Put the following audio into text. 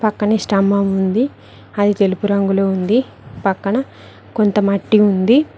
పక్కనే స్తంభం ఉంది అది తెలుపు రంగులో ఉంది పక్కన కొంత మట్టి ఉంది.